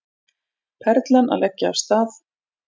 Perlan að leggja af stað